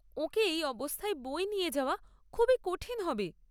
ওঁকে এই অবস্থায় বয়ে নিয়ে যাওয়া খুবই কঠিন হবে।